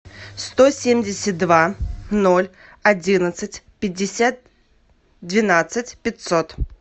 сто семьдесят два ноль одиннадцать пятьдесят двенадцать пятьсот